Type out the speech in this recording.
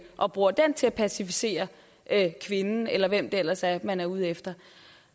og bruger den til at passivisere kvinden eller hvem det ellers er man er ude efter